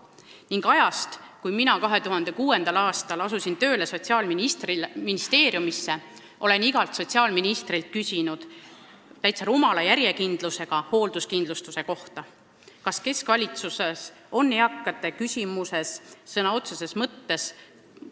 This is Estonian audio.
Alates ajast, kui mina 2006. aastal asusin tööle Sotsiaalministeeriumisse, olen igalt sotsiaalministrilt küsinud täitsa rumala järjekindlusega hoolduskindlustuse kohta: kas keskvalitsuses on eakate küsimuses sõna otseses mõttes